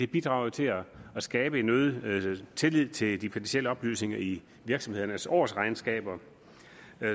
bidrager til at skabe øget tillid til de finansielle oplysninger i virksomhedernes årsregnskaber